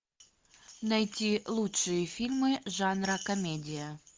найти лучшие фильмы жанра комедия